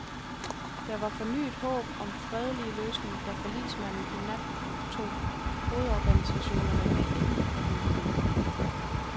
Der var fornyet håb om fredelig løsning, da forligsmanden i nat tog hovedorganisationerne med ind i forhandlingerne.